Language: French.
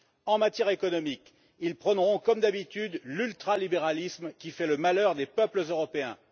En matière économique, ils prôneront, comme d'habitude, l'ultralibéralisme, qui fait le malheur des peuples européens.